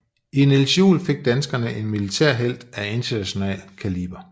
I Niels Juel fik danskerne en militærhelt af international kaliber